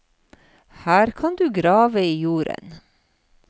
Her kan du grave i jorden.